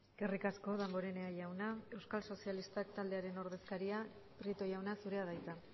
eskerrik asko damborenea jauna euskal sozialistak taldearen ordezkaria prieto jauna zurea da hitza